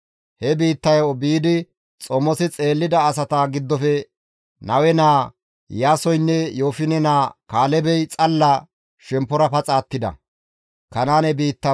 He biittayo biidi xomosi xeellida asata giddofe Nawe naa Iyaasoynne Yoofine naa Kaalebey xalla shemppora paxa attida.